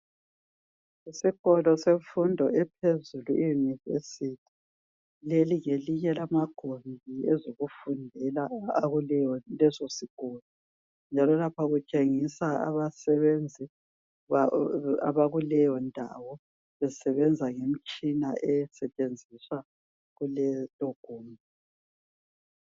Isikolo semfundo ephezulu e- university. Leli ngelinye lamagumbi ezokufundela akulesosikolo. Njalo lapha kutshengiswa abasebenzi abakuleyondawo. Besebenza ngemitshina, esetshenziswa kulelogumbi.